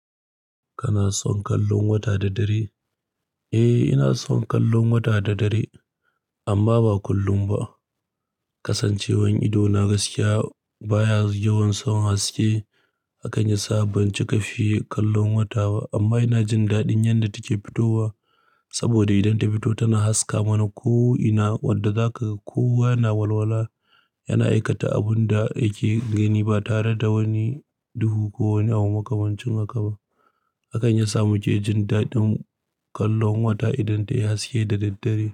Kana son kallon wata da dare? Eh, ina son kallon wata da dare, amma ba kullum ba. Kasancewar idona gaskiya baya yawan son haske, akan yasa ban cika fi kallon wata ba. Amma ina jin daɗin yadda take fitowa, saboda idan ta fito tana haska mana ko'ina wadda za ka kowa yana walwala, yana aikata abun da yake gani ba tare da wani duhu ko wani abu makamancin haka ba. Akan yasa muke jin daɗin kallon wata idan ta yi haske da daddare.